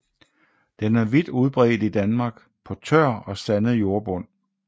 Den er vidt udbredt i Danmark på tør og sandet jordbund